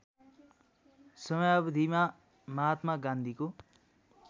समयावधिमा महात्मा गान्धीको